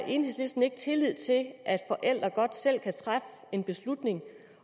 enhedslisten ikke tillid til at at forældre godt selv kan træffe en beslutning